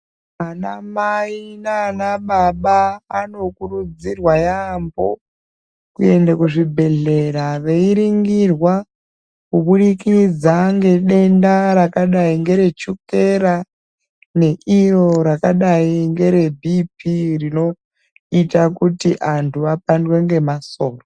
Vanamai nana baba vanokurudzirwa yambo kuende kuzvibhedhera veiringirwa kuburikidza ngedenda rakadai ngere chukera neiro rakadai ngere bhipi rinoita kuti vantu vapandwe ngemasoro.